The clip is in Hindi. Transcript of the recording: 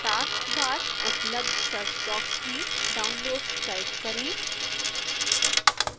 task bar उपलब्ध search बॉक्स में downloads टाइप करें